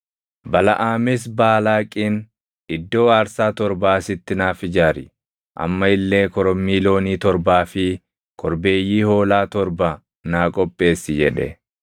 Balaʼaamis Baalaaqiin, “Iddoo aarsaa torba asitti naaf ijaari; amma illee korommii loonii torbaa fi korbeeyyii hoolaa torba naa qopheessi” jedhe.